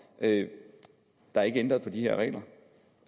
at der ikke er ændret på de her regler